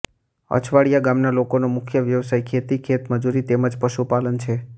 અછવાડીયા ગામના લોકોનો મુખ્ય વ્યવસાય ખેતી ખેતમજૂરી તેમ જ પશુપાલન છે